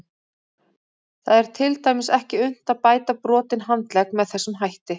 Það er til dæmis ekki unnt að bæta brotinn handlegg með þessum hætti.